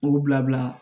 K'u bila bila